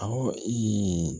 Awɔ